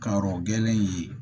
Karɔ gɛlɛn ye